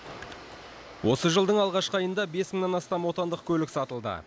осы жылдың алғашқы айында бес мыңнан астам отандық көлік сатылды